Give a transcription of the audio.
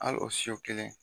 Al o siyo kelen